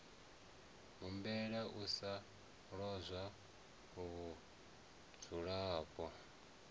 humbela u sa lozwa vhudzulapo